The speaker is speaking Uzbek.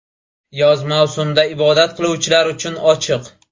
Yoz mavsumida ibodat qiluvchilar uchun ochiq.